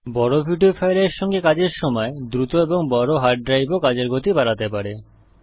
বড় ভিডিও ফাইলের সঙ্গে কাজের সময় দ্রুত এবং বড় হার্ড ড্রাইভও কাজের গতি বাড়াতে পারে